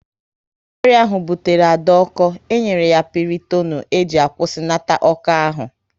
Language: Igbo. Ọrịa ahụ butere Ada ọko, e nyere ya Pịrịtonu e ji kwusinata ọko ahụ